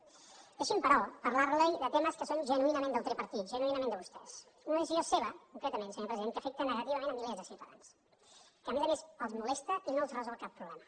deixi’m però parlar li de temes que són genuïnament del tripartit genuïnament de vostès d’una decisió seva concretament senyor president que afecta negativament milers de ciutadans que a més a més els molesta i no els resol cap problema